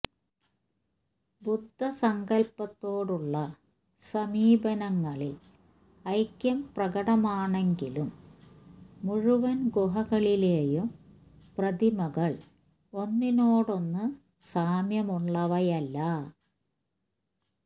ബുദ്ധസങ്കല്പത്തോടുള്ള സമീപനങ്ങളിൽ ഐക്യം പ്രകടമാണെങ്കിലും മുഴുവൻ ഗുഹകളിലേയും പ്രതിമകൾ ഒന്നിനോടൊന്ന് സാമ്യമുള്ളവയല്ല